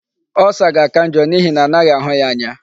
Ulcer ga-aka njọ n'ihi na anaghị ahụ ya anya.